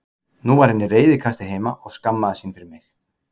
Nú var hann í reiðikasti heima og skammaðist sín fyrir mig.